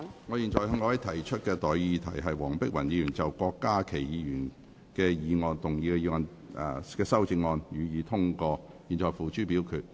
我現在向各位提出的待議議題是：黃碧雲議員就郭家麒議員議案動議的修正案，予以通過。